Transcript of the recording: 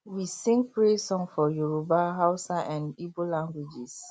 we sing praise song for yoruba hausa dn igbo languages